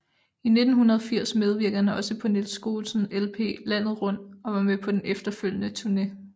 I 1980 medvirkede han også på Niels Skousens LP Landet Rundt og var med på den efterfølgende turne